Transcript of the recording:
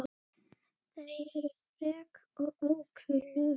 Þau eru frek og ókunnug.